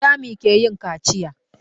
Wanzami ke yin kaciya.